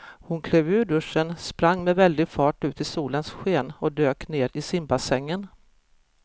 Hon klev ur duschen, sprang med väldig fart ut i solens sken och dök ner i simbassängen.